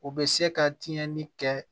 U bɛ se ka tiɲɛni kɛ